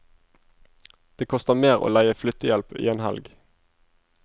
Det koster mer å leie flyttehjelp i en helg.